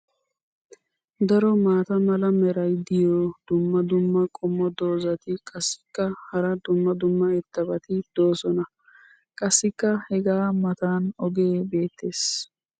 Daro maata mala meray diyo dumma dumma qommo dozzati qassikka hara dumma dumma irxxabati doosona. qassikka hegaa matan ogee beetees.